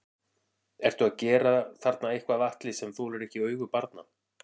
Ertu að gera þarna eitthvað Atli sem að þolir ekki augu barna?